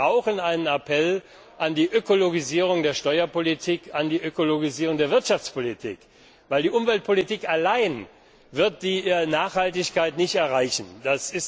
Wir brauchen einen Appell zur Ökologisierung der Steuerpolitik, zur Ökologisierung der Wirtschaftspolitik, weil die Umweltpolitik allein die Nachhaltigkeit nicht erreichen wird.